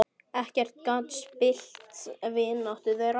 Ekkert gat spillt vináttu þeirra.